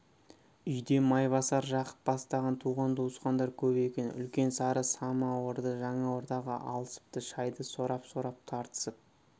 үйде майбасар жақып бастаған туған-туысқандар көп екен үлкен сары самауырды жаңа ортаға алысыпты шайды сорап-сорап тартысып